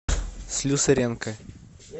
слюсаренко